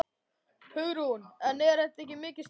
Hugrún: En er þetta mikið stress?